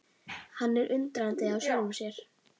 Hann er undrandi á sjálfum sér.